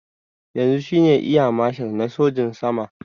Yanzu shine eya mashal na sojin sama